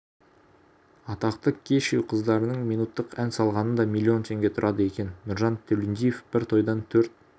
атақты кешью қыздарының минуттық ән салғаны да миллион теңге тұрады екен нұржан төлендиев бір тойдан төрт